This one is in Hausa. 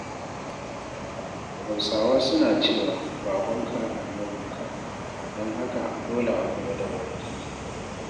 Hausawa suna cewa baƙonka annabinka, don haka dole a kula da baƙi.